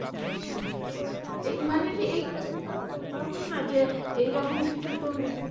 আচ্ছা মানে কি এটা তো এই রকম না যে এই রকম কিছুতে